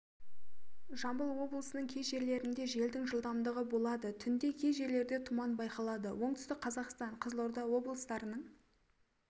жамбыл облысының кей жерлерінде желдің жылдамдығы болады түнде кей жерлерде тұман байқалады оңтүстік қазақстан қызылорда облыстарының